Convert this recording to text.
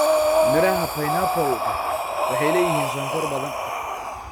Midhaha pineapple-ka waxay leeyihiin sonkor badan.